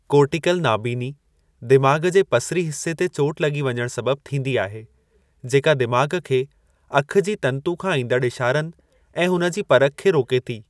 Cortical नाबीनी दिमाग़ु जे पसिसरी हिस्से ते चोटु लॻी वञणु सबबि थींदी आहे, जेका दिमाग़ु खे अखि जी तंतु खां ईंदड़ु इशारनि ऐं हुन जी परखि खे रोके थी।